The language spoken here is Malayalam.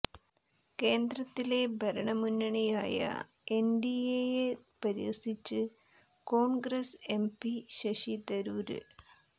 കേന്ദ്രത്തിലെ ഭരണ മുന്നണിയായ എന്ഡിഎയെ പരിഹസിച്ച് കോണ്ഗ്രസ് എംപി ശശി തരൂര്